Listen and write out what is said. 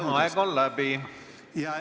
oma miljonilisest nõudest.